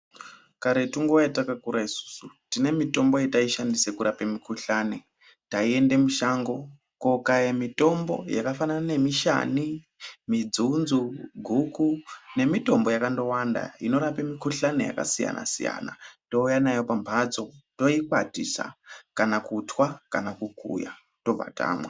Karetu nguwa yatakakura isusu tine mitombo yataishandise kurapa mikhuhlane taiende mushango kokaye mitombo yakafanana nemishani, midzunzu, guku nemitombo yakandowanda inorape mikhuhlane yakasiyana-siyana touya nayo pamhatso toikwatisa kana kukuya tobva tamwa.